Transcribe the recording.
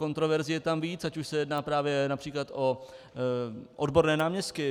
Kontroverzí je tam víc, ať už se jedná právě například o odborné náměstky.